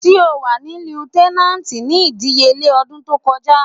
Ti o wà ni leuitenant ni idiyele odun to koja